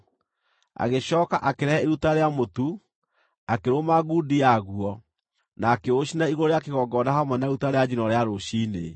Agĩcooka akĩrehe iruta rĩa mũtu, akĩrũma ngundi yaguo, na akĩũcinĩra igũrũ rĩa kĩgongona hamwe na iruta rĩa njino rĩa rũciinĩ.